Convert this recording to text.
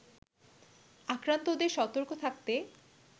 আক্রান্তদের সতর্ক থাকতে